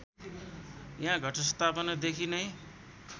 यहाँ घटस्थापनादेखि नै